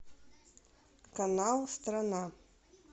канал страна